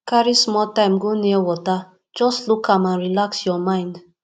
carry small time go near water just look am and relax your mind